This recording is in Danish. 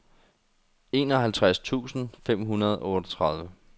enoghalvtreds tusind fem hundrede og otteogtredive